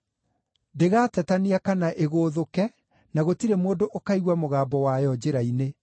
Ndĩgaatetania kana ĩgũũthũke; na gũtirĩ mũndũ ũkaigua mũgambo wayo njĩra-inĩ.